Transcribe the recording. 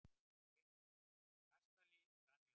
Kastali brann í Árbæ